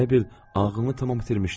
Elə bil ağlını tam itirmişdi.